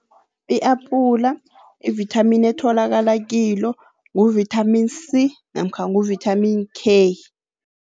I-apula, ivithamini etholakala kilo ngu-vitamin C namkha ngu-vitamin K.